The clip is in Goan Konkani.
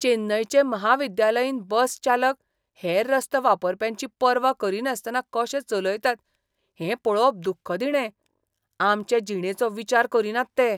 चेन्नयचे महाविद्यालयीन बस चालक हेर रस्तो वापरप्यांची पर्वा करिनासतना कशें चलयतात हें पळोवप दुख्खदिणें. आमचे जिणेचो विचार करिनात ते.